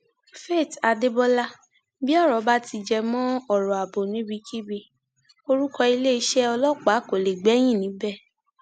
faith adébọlà bí ọrọ bá ti ti jẹ mọ ọrọ ààbò níbikíbi orúkọ iléeṣẹ ọlọpàá kó lè gbẹyìn níbẹ